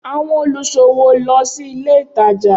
Awọn oniṣowo lọ si ile itaja.